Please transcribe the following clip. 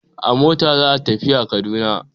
A mota za a tafiya Kaduna.